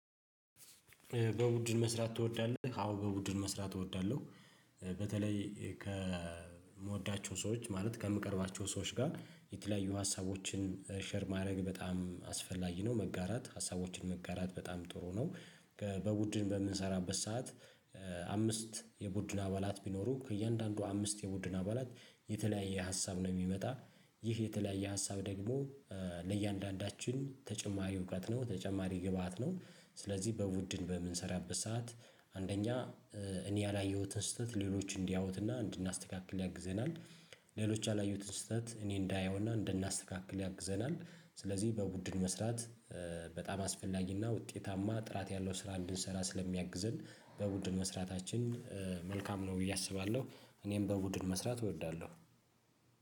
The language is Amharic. በቡድን መስራት ትወዳለህ? አዎ በቡድን መስራት እወዳለሁ። በተለይ ከምወዳቸው ሰዎች ማለት ከምቀርባቸው ሰዎች ጋር የተለያዩ ሀሳቦችን ሼር ማድረግ በጣም አስፈላጊ ነው መጋራት ሀሳቦችን መጋራት በጣም ጥሩ ነው። በቡድን በምንሰራበት ሰዓት። አምስት የቡድን አባላት ቢኖሩ ከእያንዳንዱ አምስት የቡድን አባላት የተለያየ ሀሳብ ነው የሚመጣ። ይህ የተለያየ ሀሳብ ደግሞ ለእያንዳንዳችን ተጨማሪ እውቀት ነው ተጨማሪ ግብአት ነው። ስለዚህ በቡድን በምንሰራበት ሰዓት አንደኛ እኔ ያላየሁትን ስህተት ሌሎች እንዲያዩትና እንድናስተካክል ያግዘናል። ሌሎች ያላየሁትን ስህተት እኔ እንዳየውና እንድናስተካክል ያግዘናል ስለዚህ በቡድን መስራት። በጣም አስፈላጊና ውጤታማ ጥራት ያለው ስራ እንድንሰራ ስለሚያግዝን በቡድን መስራታችን መልካም ነው ብዬ አስባለሁ። እኔም በቡድን መስራት እወዳለሁ።